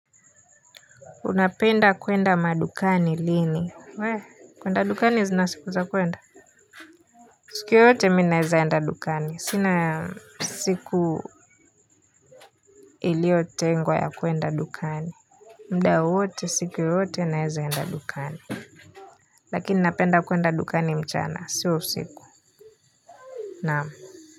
Unapenda kwenda madukani lini we kwenda dukani zina siku za kwenda siku yoyote mi naeza enda dukani sina siku ilio tengwa ya kwenda dukani mda wowote siku yoyote naeza enda dukani lakini napenda kwenda dukani mchana sio usiku naam.